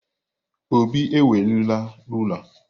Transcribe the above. Obi ewerela rulaa.